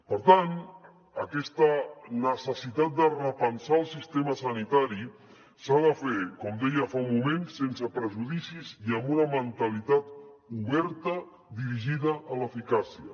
per tant aquesta necessitat de repensar el sistema sanitari s’ha de fer com deia fa un moment sense prejudicis i amb una mentalitat oberta dirigida a l’eficàcia